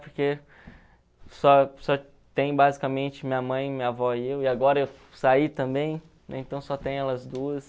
Porque só só tem basicamente minha mãe, minha avó e eu, e agora eu saí também, né, então só tem elas duas.